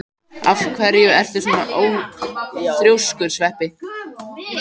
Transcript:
Af hverju ertu svona þrjóskur, Sveppi?